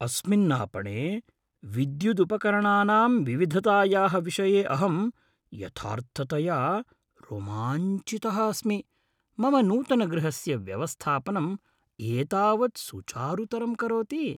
अस्मिन् आपणे विद्युदुपकरणानाम् विविधतायाः विषये अहं यथार्थतया रोमाञ्चितः अस्मि, मम नूतनगृहस्य व्यवस्थापनम् एतावत् सुचारुतरं करोति।